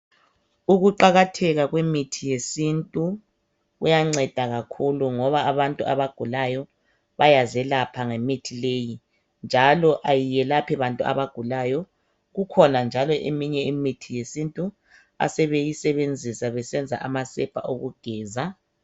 Ukuqakatheka kwemithi yesintu kuyanceda kakhulu, ngoba abantu abagulayo bayazelapha gemithi leyi, njalo kayelaphi bantu abagulayo kuphela. Ikhona njalo imithi yesintu asebeyisebenzisa, besenza amasepa okugeza.